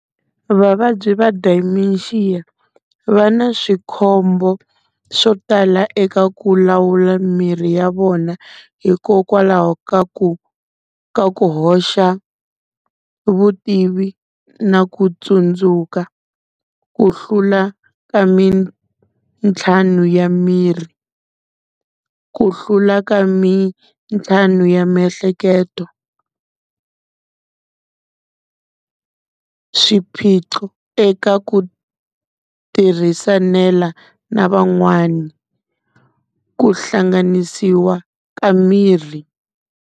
Vavabyi va Dementia va na swikhombo swo tala eka ku lawula miri ya vona, hikokwalaho ka ku ka ku hoxa vutivi na ku tsundzuka ku hlula ka mintlhamu ya miri. Ku hlula ka mintlhamu ya miehleketo swiphiqo eka ku tirhisanela na van'wani ku hlanganisiwa ka miri.